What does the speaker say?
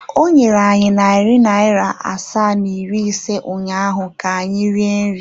O nyere anyị narị naira asaa na iri ise ụnyahụ ka anyị rie nri.